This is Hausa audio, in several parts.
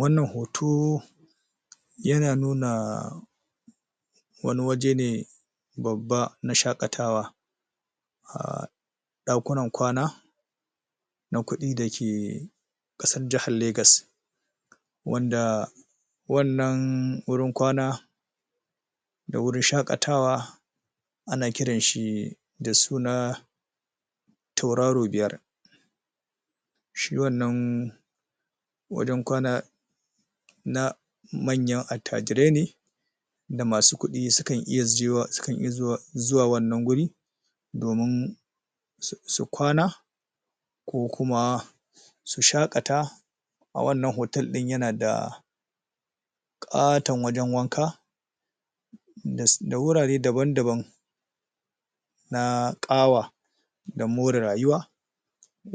Wannan hoto yana nuna wani waje ne babba na shaƙatawa um ɗakunan kwana na kuɗi dake ƙasar jahar Legas wanda wannan wurin kwana da wurin shaƙatawa ana kiran shi da suna tauraro biyar shi wannan wajen kwana na manyan attajirai ne da masu kuɗi su kan iya zuwa wannan guri domin su kwana ko kuma su shaƙata a wannan hotel din yana da ƙaton wajen wanka da wurare daban-daban na ƙawa da more rayuwa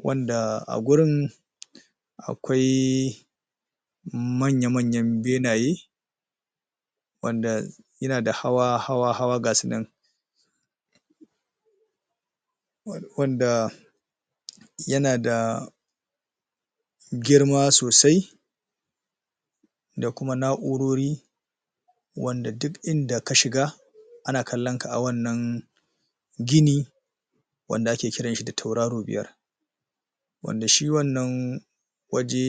wanda a gurinn akwai manya-manyan benaye wanda yana da hawa-hawa-hawa ga su nan wanda yana da girma sosai da kuma na'urori wanda duk inda ka shiga ana kallon ka a wannan gini wanda ake kiran shi da tauraro biya wanda shi wannan waje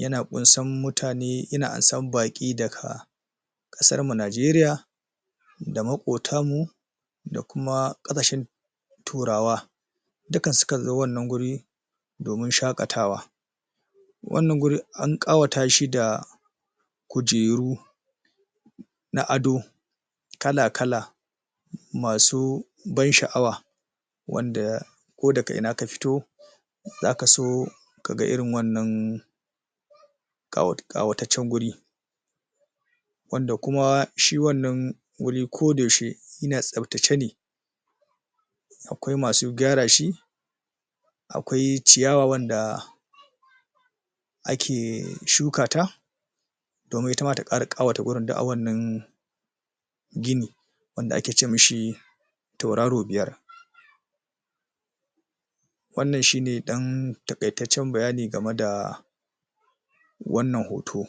yana ƙunsan mutane yana amsan baki daga ƙasarmu Najeriya da maƙotamu da kuma ƙasashen Turawa duka su kan zo wanna guri domin shaƙatawa wannan guri an ƙawata shi da kujeru na ado kala-kala masu ban sha'awa wanda ko daga ina ka fito zaka so ka ga irin wannan ƙawataccen guri wanda kuma shi wannan guri koda yaushe yana tsaftace ne akwai masu gyara shi akwai ciyawa wanda ake shuka ta domin ita ma ta ƙara ƙawata gurin du a wannan gini wanda ake ce mi shi tauraro biyar wannan shi ne ɗan taƙaitaccen bayani game da wannan hoto